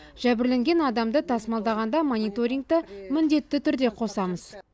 жәбірленген адамды тасымалдағанда мониторингті міндетті түрде қосамыз